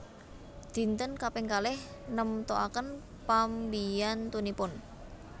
Dinten kaping kalih nemtoaken pambiyantunipun